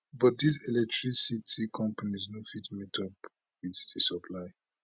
but dis electricity companies no fit meetup wit di supply